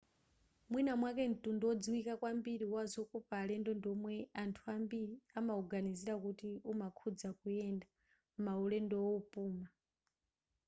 mwina mwake mtundu wodziwika kwambiri wazokopa alendo ndi womwe anthu ambiri amawuganizira kuti umakhuza kuyenda maulendo wopuma